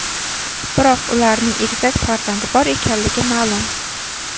Biroq ularning egizak farzandi bor ekanligi ma’lum.